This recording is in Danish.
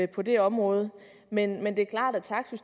på det område men